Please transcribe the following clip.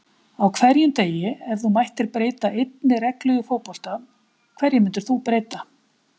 Á hverjum degi Ef þú mættir breyta einni reglu í fótbolta, hverju myndir þú breyta?